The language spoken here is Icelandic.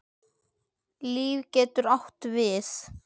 Líf getur átt við